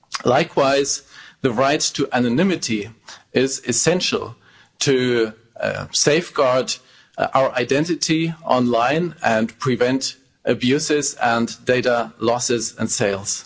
Likewise, the right to anonymity is essential to safeguard our identity online and prevent abuses and data losses and sales.